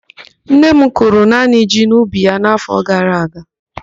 Nne m kụrụ naanị ji n'ubi ya n' áfọ gara aga.